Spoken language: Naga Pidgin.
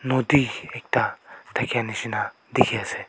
nodi ekta thaka jisna dekhi ase.